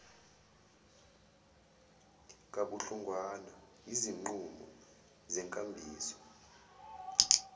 kabuhlungwana yizinqumo zenkambiso